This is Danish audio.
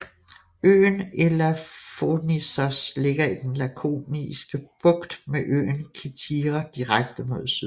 Øen Elafonissos ligger i den Lakoniske Bugt med øen Kithira direkte mod syd